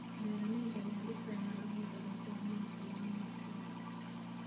Beeralayda ayaa dhisaya awoodda ay ku horumarin karaan naftooda.